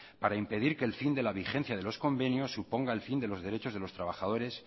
para impedir que el fin de la vigencia de los convenios suponga el fin de los derechos de los trabajadores